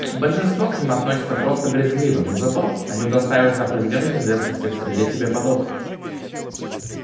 большинство к ним относится просто брезгливо но зато они удостаиваются определённой известности в среде себе подобных